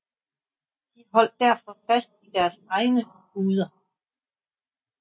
De holdt derfor fast i deres egne guder